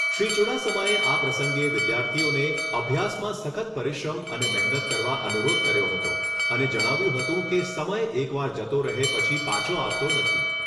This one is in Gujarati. શ્રી ચુડાસમાએ આ પ્રસંગે વિદ્યાર્થીઓને અભ્યાસમાં સખત પરિશ્રમ અને મહેનત કરવા અનુરોધ કર્યો હતો અને જણાવ્યુંં હતું કે સમય એક વાર જતો રહે પછી પાછો આવતો નથી.